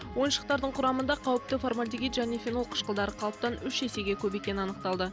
ойыншықтардың құрамында қауіпті формальдегид және фенол қышқылдары қалыптан үш есеге көп екені анықталды